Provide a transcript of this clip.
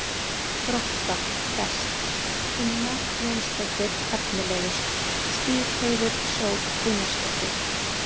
Grótta: Best: Tinna Jónsdóttir Efnilegust: Stígheiður Sól Einarsdóttir